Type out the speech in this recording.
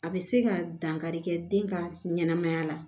A bɛ se ka dankari kɛ den ka ɲɛnamaya la